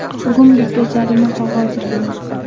Bugun bizga jarima qog‘ozi keldi.